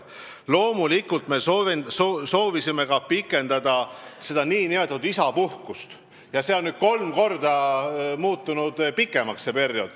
Loomulikult me soovisime pikendada ka nn isapuhkust ja see periood on peagi kolm korda pikem.